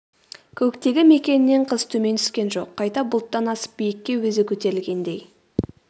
көктегі мекенінен қыз төмен түскен жоқ қайта бұлттан асып биікке өзі көтерілгендей